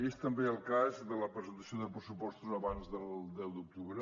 és també el cas de la presentació de pressupostos abans del deu d’octubre